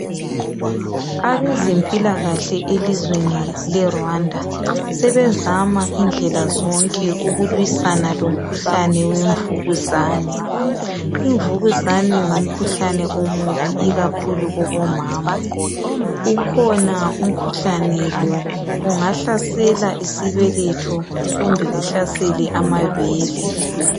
abezempilakahle elizweni le Rwanda sebezama indlela zonke ukulwisana lemikhuhlane wemvukuzane imvukuzane ngumkhuhlane omubi ikakhulu kubomama ukhona umkhuhlane lo ungahlasela isbeletho kumbe uhlasele amabele